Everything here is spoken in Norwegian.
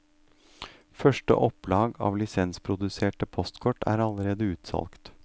Første opplag av lisensproduserte postkort er allerede utsolgt.